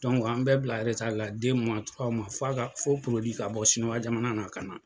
an bɛ bila la fo a ka fo ka bɔ sinuwa jamana na ka na.